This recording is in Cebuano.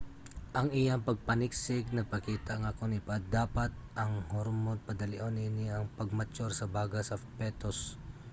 ang iyang pagpaniksik nagpakita nga kon ipadapat ang hormon padalion niini ang pag-mature sa baga sa petus